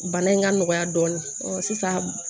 Bana in ka nɔgɔya dɔɔnin sisan